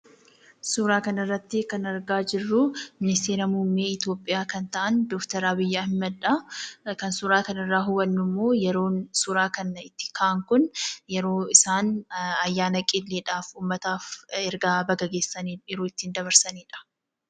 Suuraa kana irratti kan argaa jirru Ministeera Muummee Itoophiyaa kan ta'an Dr. Abiy Ahmad dha. Kan suuraa kana irraa hubannu immoo yeroon suuraa kana itti ka'an kun yeroo isaan ayyaana qilleedhaaf ummataaf erga baga geessanii yeroo itti dabarsaniidha.